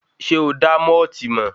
Sé o dá mọ́ọ̀tì mọ̀?